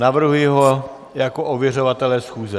Navrhuji ho jako ověřovatele schůze.